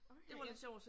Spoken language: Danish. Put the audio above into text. Okay ja